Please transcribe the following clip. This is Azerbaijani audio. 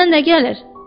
Əlindən nə gəlir?